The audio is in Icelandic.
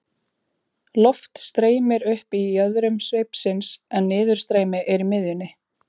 loft streymir upp í jöðrum sveipsins en niðurstreymi er í miðjunni